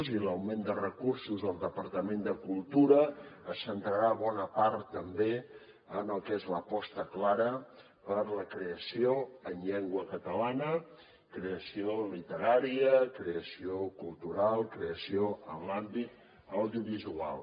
i l’augment de recursos del departament de cultura es centrarà bona part també en el que és l’aposta clara per la creació en llengua catalana creació literària creació cultural creació en l’àmbit audiovisual